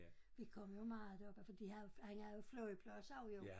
Vi kom jo meget deroppe for de har jo han har jo flyvepladser jo